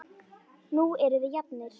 Nú erum við jafnir.